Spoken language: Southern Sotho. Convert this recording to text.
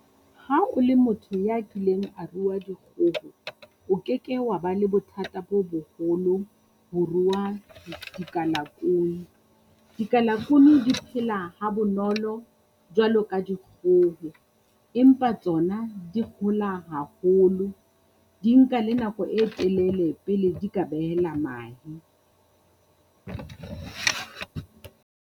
Ha o le motho ya kileng a rua dikgoho, o ke ke wa ba le bothata bo boholo ho rua dikalakuni. Dikalakuni di phela ha bonolo jwalo ka dikgoho, empa tsona di hola haholo, di nka le nako e telele pele di ka behela mahe.